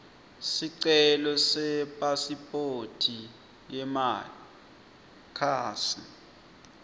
sicelo sepasiphoti yemakhasi